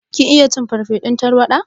Kin iya cin farsefun tarwaɗa?